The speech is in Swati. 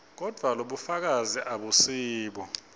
kodvwa lobufakazi abusibo